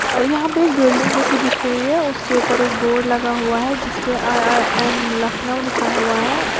यहां पे एक बिल्डिंग जैसी दिख रही है उसके ऊपर एक बोर्ड लगा हुआ है जिसपे आई_आई_एम लखनऊ लिखा हुआ है और--